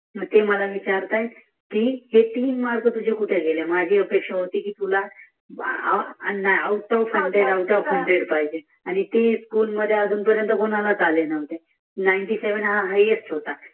मग ती मला विचारत आहे हे तीन मार्क तूझे कुठे गेल माझे अपेक्षा होतीकी तुला औटोफ शंभर पाहीजे आणि ती स्कूल मधी कोणालाच आले नव्हते सत्याण्णव हा सर्वात जास्त होता